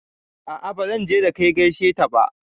A'a bazan je da kai gaishe ta ba